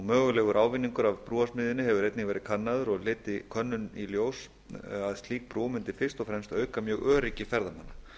mögulegur ávinningur af brúarsmíðinni hefur einnig verið kannaður og leiddi könnunin í ljós að slík brú mundi fyrst og fremst auka mjög öryggi ferðamanna